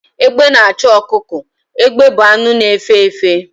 Egbe na-achụ ọkụkọ. Egbe bụ anụ na-efe efe